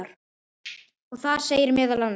og þar segir meðal annars